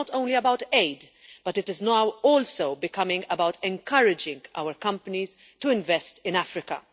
It is not only about aid, but it is now also becoming about encouraging our companies to invest in Africa.